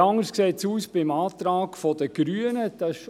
Etwas anders sieht es beim Antrag der Grünen aus: